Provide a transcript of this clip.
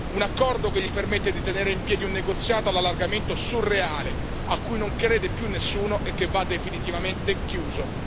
Un accordo che gli permette di tenere in piedi un negoziato all'allargamento surreale, a cui non crede più nessuno e che va definitivamente chiuso.